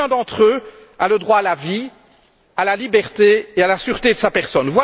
Chacun d'entre eux a le droit à la vie, à la liberté et à la sûreté de sa personne.